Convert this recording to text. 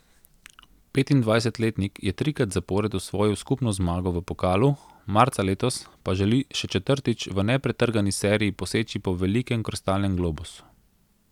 Petindvajsetletnik je trikrat zapored osvojil skupno zmago v pokalu, marca letos pa želi še četrtič v nepretrgani seriji poseči po velikem kristalnem globusu.